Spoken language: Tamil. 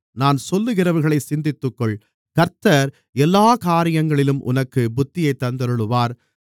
நான் சொல்லுகிறவைகளைச் சிந்தித்துக்கொள் கர்த்தர் எல்லாக் காரியங்களிலும் உனக்குப் புத்தியைத் தந்தருளுவார்